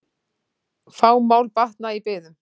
Fá mál batna í biðum.